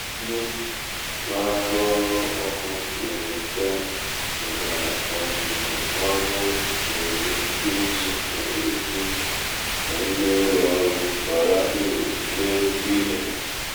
ndị na aru oru oku; nwere nka natara ọzụzụ ọrụ nwere ike iji ohere dị n’ime ụlọ ọrụ bara uru mee nnukwu ihe